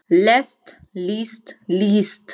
lest list líst